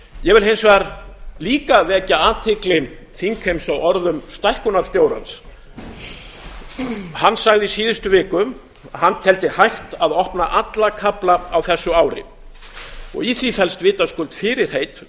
ég vil hins vegar líka vekja athygli þingheims á orðum stækkunarstjórans hann sagði í síðustu viku að hann teldi hægt að opna alla kafla á þessu ári í því felst vitaskuld fyrirheit